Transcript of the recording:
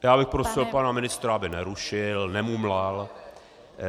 Já bych prosil pana ministra, aby nerušil, nemumlal.